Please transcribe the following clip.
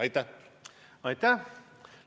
Aitäh!